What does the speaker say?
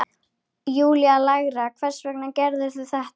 Júlía lægra: Hvers vegna gerðirðu þetta?